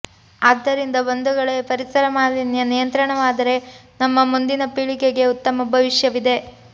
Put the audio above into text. ಆದ್ದರಿಂದ ಬಂಧುಗಳೆ ಪರಿಸರ ಮಾಲಿನ್ಯ ನಿಯಂತ್ರಣವಾದರೆ ನಮ್ಮ ಮುಂದಿನ ಪೀಳಿಗೆಗೆ ಉತ್ತಮ ಭವಿಷ್ಯ ವಿದೆ